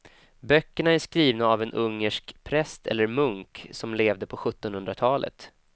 Böckerna är skrivna av en ungersk präst eller munk som levde på sjuttonhundratalet.